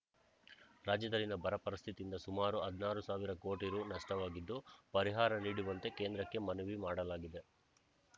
ರಾಜ್ಯದಲ್ಲಿನ ಬರ ಪರಿಸ್ಥಿತಿಯಿಂದ ಸುಮಾರು ಹದಿನಾರು ಸಾವಿರ ಕೋಟಿ ರು ನಷ್ಟವಾಗಿದ್ದು ಪರಿಹಾರ ನೀಡುವಂತೆ ಕೇಂದ್ರಕ್ಕೆ ಮನವಿ ಮಾಡಲಾಗಿದೆ